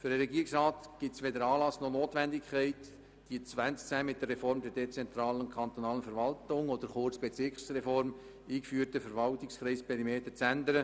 Für den Regierungsrat besteht weder ein Anlass noch die Notwendigkeit, die im Jahr 2010 mit der Reform der dezentralen kantonalen Verwaltung oder kurz Bezirksreform eingeführten Verwaltungskreisperimeter zu ändern.